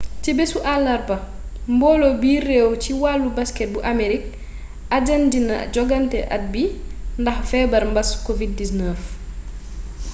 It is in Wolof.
ci béssu àllarba mboolo biir réew ci walu basket bu aamerig ajandina jogante at bi ndax feebar mbaas covid-19